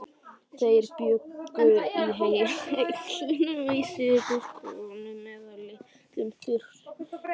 Þeir bjuggu í hellum, einsetukofum eða litlum þyrpingum smáhýsa.